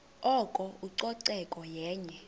oko ucoceko yenye